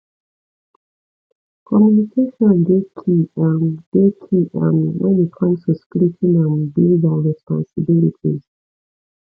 communication dey key um dey key um when it come to splitting um bills and responsibilities